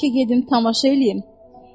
Bəlkə gedim tamaşa eləyim.